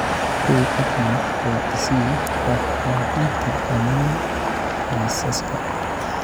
hubi app note oo i sii faahfaahinta dhammaan liisaska